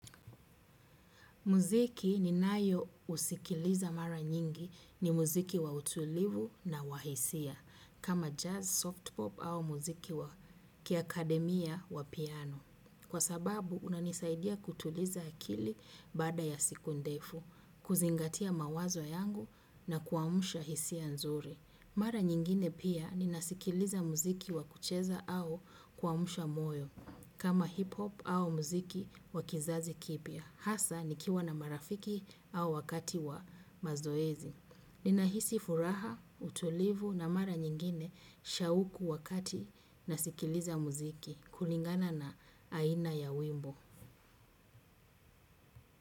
Muziki ni nayo usikiliza mara nyingi ni muziki wa utulivu na wahisia kama jazz, soft pop au muziki wa kia akademia wa piano. Kwa sababu, unanisaidia kutuliza akili bada ya siku ndefu, kuzingatia mawazo yangu na kuamusha hisia nzuri. Mara nyingine pia ni nasikiliza muziki wa kucheza au kuamusha moyo kama hip hop au muziki wa kizazi kipia. Hasa nikiwa na marafiki au wakati wa mazoezi. Nina hisi furaha, utulivu na mara nyingine shauku wakati na sikiliza muziki kulingana na aina ya wimbo.